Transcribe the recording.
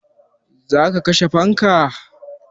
Za ka kashe fanka?